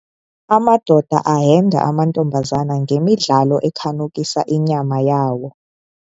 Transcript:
Amadoda ahenda amantombazana ngemidlalo ekhanukisa inyama yawo.